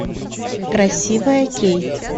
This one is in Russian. красивая кейт